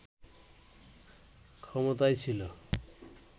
ক্ষমতায় ছিল